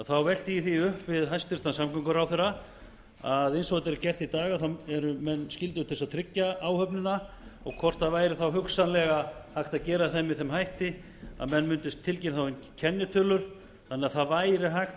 þá velti ég því upp við hæstvirtan samgönguráðherra að eins og þetta er gert í dag þá eru menn skyldugir til þess að tryggja áhöfnina og hvort það væri þá hugsanlega hægt að gera það með þeim hætti að menn mundu tilkynna þá um kennitölur þannig að það væri hægt